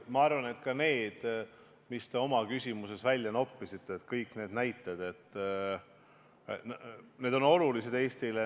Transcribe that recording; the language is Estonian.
Ma arvan, et need näited, mis te oma küsimuses välja noppisite, on Eestile olulised.